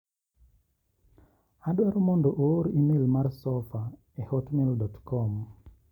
Adwaro mondo oor imel ne Soffa e hotmail.com.